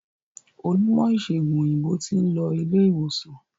Onímò ìsègùn òyìnbó tin lo ilé ìwòsan